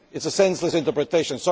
It is a senseless interpretation.